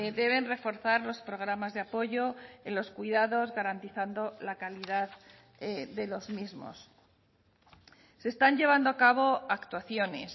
deben reforzar los programas de apoyo en los cuidados garantizando la calidad de los mismos se están llevando a cabo actuaciones